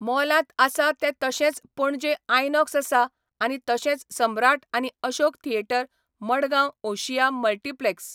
मॉलांत आसा तें तशेंच पणजे आयनॉक्स आसा आनी तशेंच सम्राट आनी अशोक थिएटर मडगांव ओशीया मल्टीप्लॅक्स